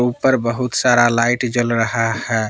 ऊपर बहुत सारा लाइट जल रहा है।